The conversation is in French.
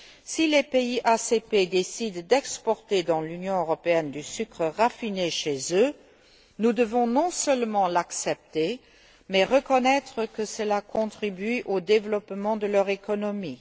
Si les pays ACP décident d'exporter dans l'Union européenne du sucre raffiné chez eux, nous devons non seulement l'accepter, mais reconnaître que cela contribue au développement de leur économie.